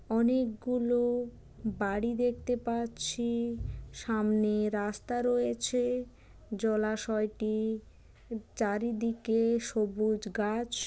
অনেকগুলো বাড়ি দেখতে পাচ্ছি সামনে রাস্তা রয়েছে জলাশয়টি চারিদিকে সবুজ গাছ।